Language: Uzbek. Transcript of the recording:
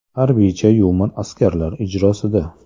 Harbiycha yumor askarlar ijrosida.